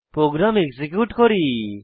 programme execute করি